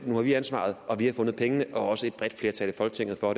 nu har vi ansvaret og vi har fundet pengene og også et bredt flertal i folketinget og